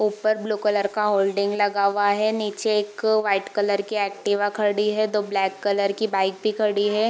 ऊपर blue colour का hoarding लगा हुआ नीचे एक व्हाइट कलर के एक्टिवा खड़ी है दो ब्लैक कलर की बाइक भी खड़ी है।